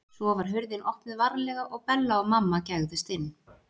Svo var hurðin opnuð varlega og Bella og mamma gægðust inn.